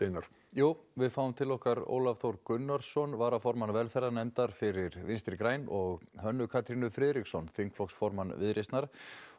jú við fáum til okkar Ólaf Þór Gunnarsson varaformann velferðarnefndar fyrir Vinstri græn og Hönnu Katrínu Friðriksson þingflokksformann Viðreisnar